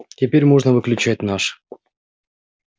теперь можно выключать наш